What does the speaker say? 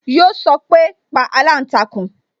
Yo sọpe "pa aláǹtakùn"